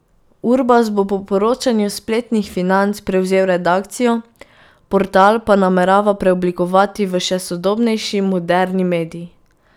Urbas bo po poročanju spletnih Financ prevzel redakcijo, portal pa namerava preoblikovati v še sodobnejši moderni medij.